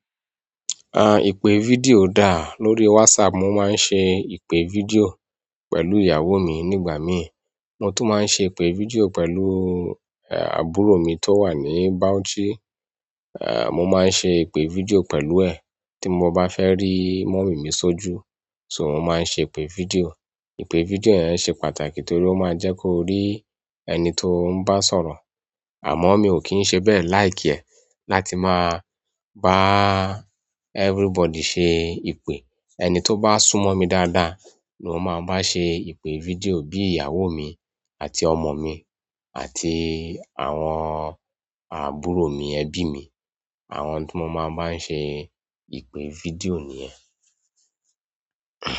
À, ìpè fídíò dà, lórí WhatsApp mo máa ń ṣe ìpè fídíò pẹ̀lú ìyàwó mi nígbà mí, mo tún máa ń ṣe ìpè fídíò pẹ̀lú, e, àbúrò mi tó wà ní Bauchi, e, mo máa ń ṣe ìpè fídíò pẹ̀lú ẹ̀, tí mo bá fẹ́ rí mọ̀mí mi sójú, ṣó mo máa ń ṣe ìpè fídíò. Ìpè fídíò yẹn ṣe pàtàkì torí ó máa ń jẹ́ ko rí ẹni tó ń bá sọ̀rọ̀, àmọ́ mi ò kí ń ṣe bẹ́ẹ̀ likr ẹ́, láti máa bá everybody ṣe ìpè. Ẹni tó bá súnmọ́ mi dáadáa ni mo máa bá ṣe ìpè fídíò, bí ìyàwó mi àti ọmọ mi àti àwọn àbúrò mi ẹbí mi. Àwọn tí mo máa ń bá se ìpè fídíò niyẹn.